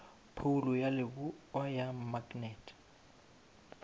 phoulo ya leboa ya maknete